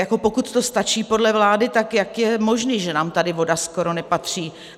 Jako pokud to stačí podle vlády, tak jak je možné, že nám tady voda skoro nepatří?